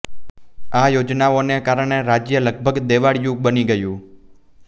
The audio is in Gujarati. આ યોજનાઓને કારણે રાજ્ય લગભગ દેવાળિયું બની ગયું